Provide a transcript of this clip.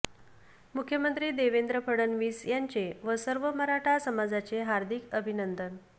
मुख्यमंत्री देवेद्र फडणवीस यांचे व सर्व मराठा समाजाचे हार्दिक अभिनंदन